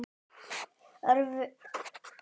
Örveruflóran í hefðbundnu skyri er ekki að fullu þekkt.